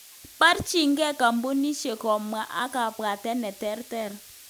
Borchinge kompunishek kobwa ak kabwatet neterter.